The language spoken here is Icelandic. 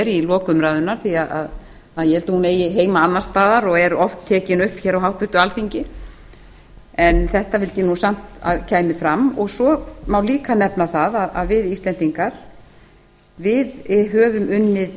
í lok umræðunnar því að ég held að hún eigi heima annars staðar og er oft tekin upp á háttvirtu alþingi en þetta vildi ég samt að kæmi fram svo má líka nefna það að við íslendinga höfum unnið